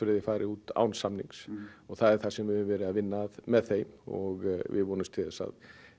þeir fari út án samnings og það er það sem við höfum verið að vinna að með þeim og við vonumst til þess að